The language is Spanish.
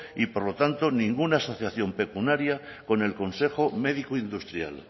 y por lo tanto ninguna asociación pecuniaria